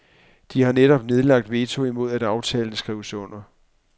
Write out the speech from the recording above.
De har netop nedlagt veto imod at aftalen skrives under.